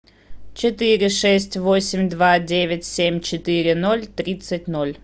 четыре шесть восемь два девять семь четыре ноль тридцать ноль